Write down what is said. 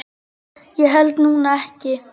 Ég held nú ekki.